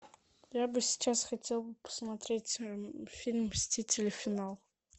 я бы сейчас хотел бы посмотреть фильм мстители финал